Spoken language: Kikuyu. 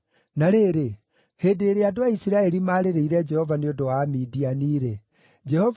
Na rĩrĩ, hĩndĩ ĩrĩa andũ a Isiraeli maarĩrĩire Jehova nĩ ũndũ wa Amidiani-rĩ, Jehova